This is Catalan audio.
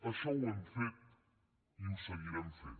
això ho hem fet i ho seguirem fent